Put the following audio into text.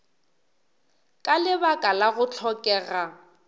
ka lebaka la go hlokega